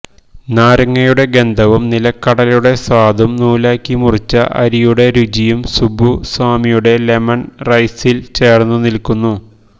നാരങ്ങയുടെ ഗന്ധവും നില ക്കടലയുടെ സ്വാദും നൂലാക്കി മുറിച്ച അരിയുടെ രുചിയും സുബ്ബുസ്വാമിയുടെ ലെമൺ റൈസി ൽ ചേർന്നു നിൽക്കുന്നു